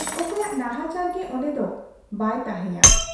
ᱚᱠᱚᱭᱟᱜ ᱱᱟᱦᱟᱪᱟᱨ ᱜᱮ ᱚᱱᱰᱮ ᱫᱚ ᱵᱟᱭ ᱛᱟᱦᱮᱸᱭᱟ ᱾